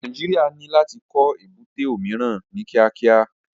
Nàìjíríà ní láti kọ́ èbúté omiran ní kíákíá